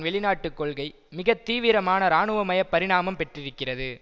வெளிநாட்டு கொள்கை மிக தீவிரமான இராணுவமய பரிணாமம் பெற்றிருக்கிறது